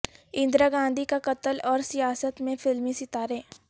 اندرا گاندھی کا قتل اور سیاست میں فلمی ستارے